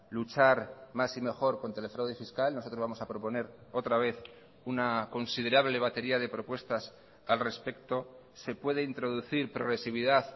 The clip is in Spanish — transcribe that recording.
luchar más y mejor contra el fraude fiscal nosotros vamos a proponer otra vez una considerable batería de propuestas al respecto se puede introducir progresividad